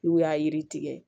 N'u y'a yiri tigɛ